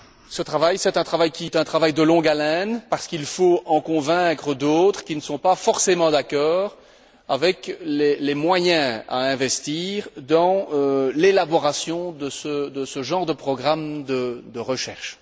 Ce travail, c'est un travail de longue haleine parce qu'il faut en convaincre d'autres qui ne sont pas forcément d'accord avec les moyens à investir dans l'élaboration de ce genre de programme de recherche.